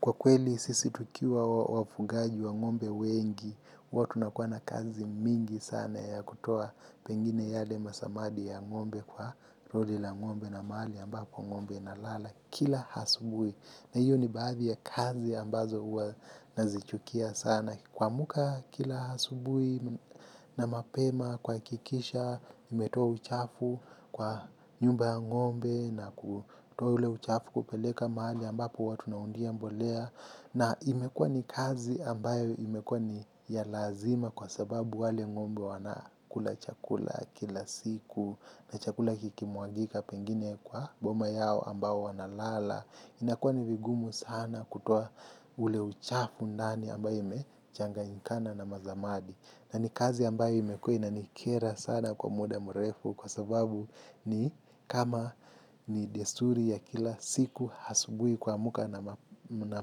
Kwa kweli sisi tukiwa wafugaji wa ngombe wengi, huwa tunakuwa na kazi mingi sana ya kutoa pengine yale masamadi ya ngombe kwa roli la ngombe na mahali ambapo ngombe inalala kila asubuhi. Na hiyo ni baadhi ya kazi ambazo huwa nazichukia sana. Kuamka kila asubuhi na mapema kuhakikisha, mmetua uchafu kwa nyumba ngombe na kutoa ule uchafu kupeleka mahali ambapo huwa tunaundia mbolea. Na imekua ni kazi ambayo imekuwa ni ya lazima kwa sababu wale ng'ombe wanakula chakula kila siku na chakula kikimwangika pengine kwa boma yao ambao wanalala. Inakuwa ni vigumu sana kutoa ule uchafu ndani ambayo imechanganyikana na masamadi. Na ni kazi ambayo imekuwa inanikera sana kwa muda mrefu kwa sababu ni kama ni desuri ya kila siku asubuhi kuamka na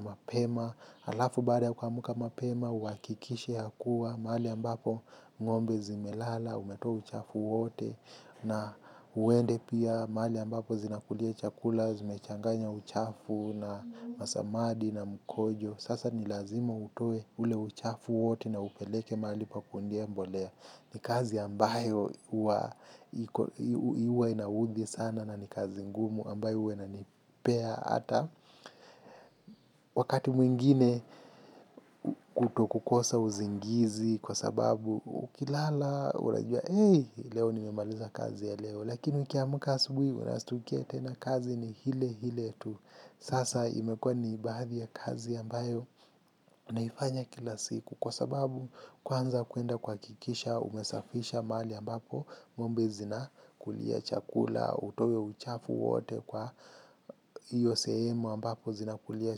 mapema. Alafu baada ya kuamka mapema, uhakikishe yakuwa, mahali ambapo ng'ombe zimelala, umetoa uchafu wote. Na uende pia, mahali ambapo zinakulia chakula, zimechanganya uchafu na masamadi na mkojo. Sasa ni lazima utoe ule uchafu wote na upeleke mahali pa kuundia mbolea. Ni kazi ambayo huwa inaudhi sana na ni kazi ngumu ambayo huwa inanipea ata. Wakati mwingine kutokukosa usingizi kwa sababu ukilala unajua hey leo nimemaliza kazi ya leo. Lakini ukiamka asubuhi unashtukia tena kazi ni ile ile tu. Sasa imekuwa niibadhi ya kazi ambayo naifanya kila siku kwa sababu kwanza kuenda kuhakikisha umesafisha mahali ambapo ng'ombe zinakulia chakula, utoe uchafu wote kwa hiyo sehemu ambapo zinakulia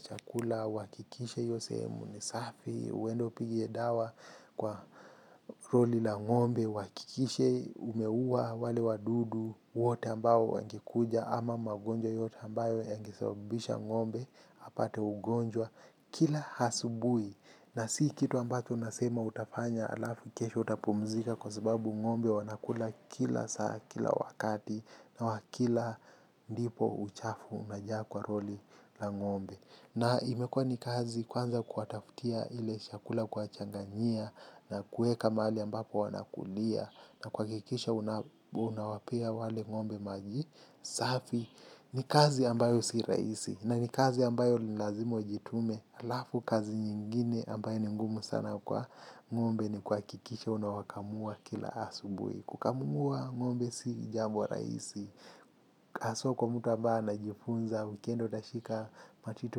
chakula, uhakikishe hiyo sehemu ni safi, uende upige dawa kwa roli la ngombe, uhakikishe umeua wale wadudu wote ambao wangekuja ama magonjwa yote ambayo yangesabisha ng'ombe. Apate ugonjwa kila asubuhi. Na si kitu ambacho unasema utafanya alafu kesho utapumzika. Kwa sababu ng'ombe wanakula kila saa kila wakati. Na wakila ndipo uchafu unajaa kwa roli la ng'ombe. Na imekuwa ni kazi kwanza kuwatafutia ile chakula kuwachanganyia na kuweka mahali ambapo wanakulia na kuhakikisha unawapea wale ngombe maji safi ni kazi ambayo si rahisi. Na ni kazi ambayo ni lilazima ujitume alafu kazi nyingine ambayo ni ngumu sana kwa ng'ombe ni kuhakikisha unawakamua kila asubuhi. Kukamua ng'ombe si jambo rahisi haswa kwa mtu ambaye anajifunza ukienda utashika matiti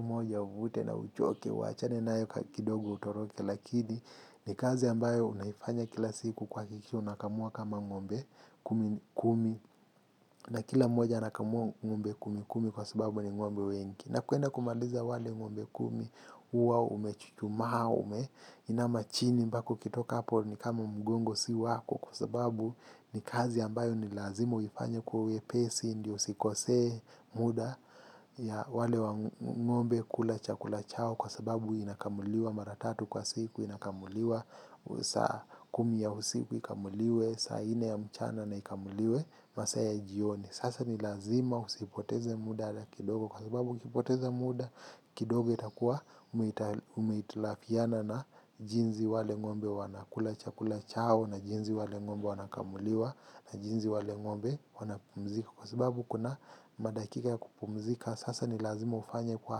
moja uvute na uchoke uwachane nayo kidogo utoroke. Lakini ni kazi ambayo unaifanya kila siku kuhakikisha unakamua kama ng'ombe kumi kumi. Na kila mmoja anakamua ng'ombe kumi kumi kwa sababu ni ng'ombe wengi. Na kuenda kumaliza wale ng'ombe kumi huwa umechuchumaa umeinama chini ambako ukitoka hapo ni kama mgongo si wako kwa sababu ni kazi ambayo ni lazima uifanye kwa wepesi ndio usikose muda ya wale wangombe kula chakula chao kwa sababu inakamuliwa mara tatu kwa siku inakamuliwa saa kumi ya usiku ikamuliwe saa ine ya mchana na ikamuliwe masaya jioni. Sasa ni lazima usipoteze muda ata kidogo kwa sababu ukipoteze muda kidogo itakuwa umeitilafiana na jinsi wale ng'ombe wanakula chakula chao na jinsi wale ng'ombe wanakamuliwa na jinsi wale ngombe wanapumzika. Kwa sababu kuna madakika ya kupumzika, sasa ni lazima ufanye kwa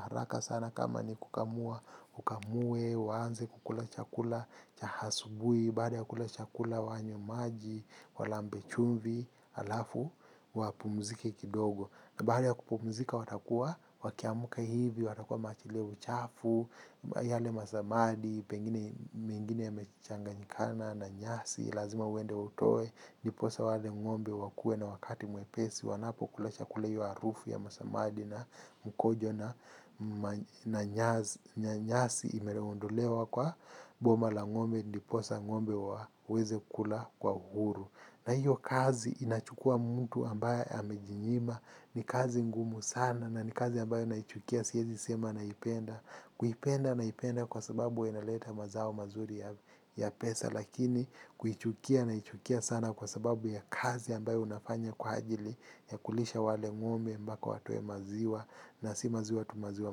haraka sana kama ni kukamua, ukamue, uanze kukula chakula, cha asubuhi, baada ya kukula chakula wanywe maji, walambe chumvi, alafu, wapumziki kidogo. Na baada ya kupumzika watakuwa wakiamka hivi, watakuwa wameachilia uchafu, yale masamadi, pengine mengine ya mechanganyikana na nyasi, lazima uende utoe, ndiposa wale ngombe wakue na wakati mwepesi, wanapo kula chakula hiyo harufu ya masamadi na mkojo na nyasi imeondolewa kwa boma la ngombe ndiposa ngombe waweze kula kwa uhuru. Na hiyo kazi inachukua mtu ambaye amejinyima. Ni kazi ngumu sana na ni kazi ambayo naichukia siezi sema naipenda. Kuipenda naipenda kwa sababu inaleta mazao mazuri ya pesa lakini kuichukia naichukia sana kwa sababu ya kazi ambayo unafanya kwa ajili ya kulisha wale ngombe mpaka watoe maziwa na si maziwa tu maziwa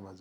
mazuri.